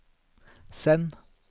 send